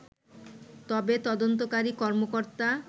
তবে তদন্তকারী কর্মকর্তা